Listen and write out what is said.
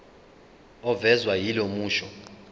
ovezwa yilo musho